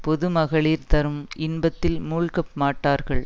பொதுமகளிர் தரும் இன்பத்தில் மூழ்கமாட்டார்கள்